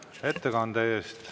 Suur tänu ettekande eest!